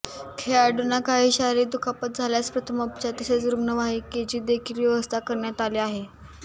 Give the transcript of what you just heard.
खेळाडूंना काही शारीरिक दुखापत झाल्यास प्रथमोपचार तसेच रुग्णवाहिकेची देखील व्यवस्था करण्यात आली आहे